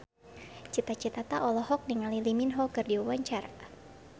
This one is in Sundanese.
Cita Citata olohok ningali Lee Min Ho keur diwawancara